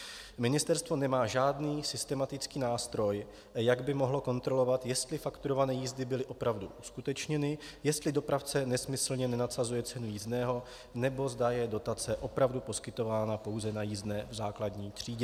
Ministerstvo nemá žádný systematický nástroj, jak by mohlo kontrolovat, jestli fakturované jízdy byly opravdu uskutečněny, jestli dopravce nesmyslně nenadsazuje ceny jízdného, nebo zda je dotace opravdu poskytována pouze na jízdné v základní třídě.